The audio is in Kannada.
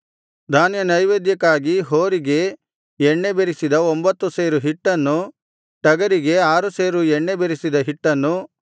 ಧಾನ್ಯನೈವೇದ್ಯಕ್ಕಾಗಿ ಹೋರಿಗೆ ಎಣ್ಣೆ ಬೆರೆಸಿದ ಒಂಭತ್ತು ಸೇರು ಹಿಟ್ಟನ್ನು ಟಗರಿಗೆ ಆರು ಸೇರು ಎಣ್ಣೆ ಬೆರೆಸಿದ ಹಿಟ್ಟನ್ನು